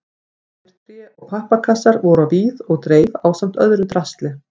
Tómir tré- og pappakassar voru á víð og dreif ásamt öðru drasli.